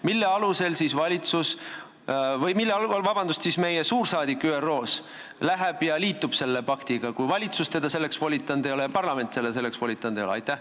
Mille alusel läheb meie suursaadik ÜRO-sse ja liitub selle paktiga, kui valitsus ega parlament teda selleks volitanud ei ole?